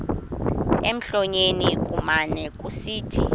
emlonyeni kumane kusithi